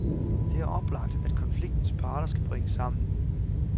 Det er oplagt, at konfliktens parter skal bringes sammen.